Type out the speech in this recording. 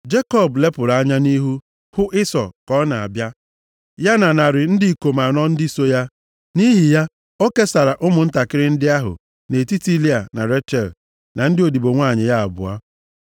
Jekọb lepụrụ anya nʼihu, hụ Ịsọ ka ọ na-abịa, ya na narị ndị ikom anọ ndị so ya. Nʼihi ya, o kesara ụmụntakịrị ndị ahụ, nʼetiti Lịa, na Rechel na ndị odibo nwanyị ya abụọ.